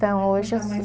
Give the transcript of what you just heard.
Então hoje